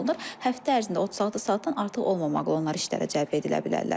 Həftə ərzində 36 saatdan artıq olmamaqla onlar işlərə cəlb edilə bilərlər.